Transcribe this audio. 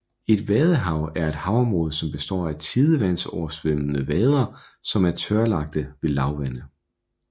Et vadehav er et havområde som består af tidevandsoversvømmede vader som er tørlagte ved lavvande